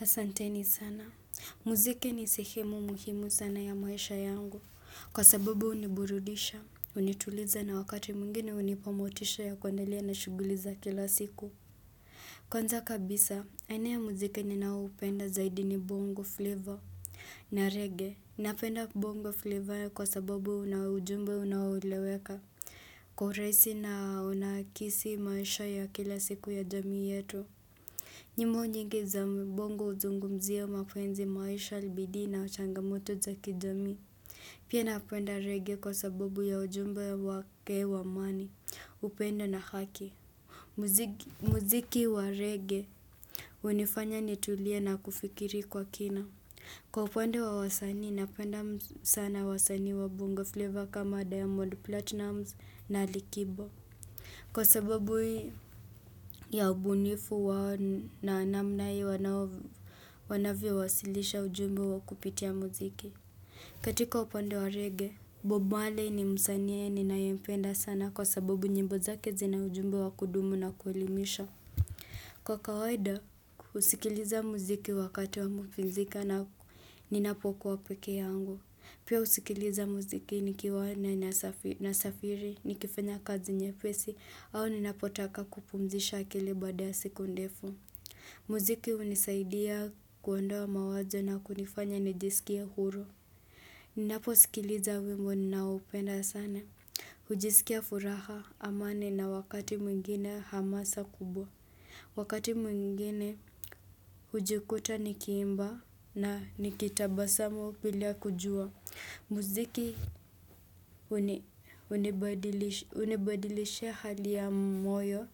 Asanteni sana. Muziki ni sehemu muhimu sana ya maisha yangu. Kwa sababu huniburudisha. Hunituliza na wakati mwingine hunipa motisha ya kuendelea na shughuli za kila siku. Kwanza kabisa, aina ya muziki ninao hupenda zaidi ni bongo flavor. Na reggae. Napenda bongo flavor kwa sababu unaujumbe unaoeleweka. Kwa urahisi na unakisi maisha ya kila siku ya jamii yetu. Nyimbo nyingi za bongo huzungumzia mapenzi, maisha, bidii na changamoto za kijamii. Pia napenda reggae kwa sababu ya ujumbe wake wa amani, upendo na haki. Muziki Muziki wa reggae hunifanya nitulie na kufikiri kwa kina. Kwa upande wa wasanii, napenda sana wasanii wa bonga flavor kama Diamond Platinumz Ali kiba. Kwa sababu ya ubunifu wao na namna hiyo wanavyowasilisha ujumbe wao kupitia muziki. Katika upande wa reggae, Bob Marley ni msanii ninayempenda sana kwa sababu nyimbo zake zina ujumbe wa kudumu na kuelimisha. Kwa kawaida, husikiliza muziki wakati wa mapumzika na ninapokuwa peke yangu. Pia husikiliza muziki nikiwa nasafiri nikifanya kazi nyepesi au ninapotaka kupumzisha akili baada ya siku ndefu. Muziki hunisaidia kuondoa mawazo na kunifanya nijisikie huru. Ninaposikiliza wimbo ninaoupenda sana hujisikia furaha, amani na wakati mwingine hamasa kubwa. Wakati mwingine hujikuta nikiimba na nikitabasamu bila kujua. Muziki hunibadilishia hali ya moyo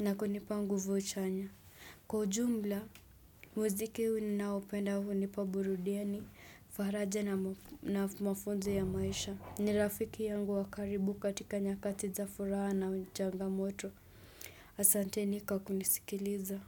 na kunipa nguvu chanya. Kwa ujumla muziki ninaopenda hunipa burudiani, faraja na mafunzo ya maisha. Ni rafiki yangu wa karibu katika nyakati za furaha na changamoto. Asanteni kwa kunisikiliza.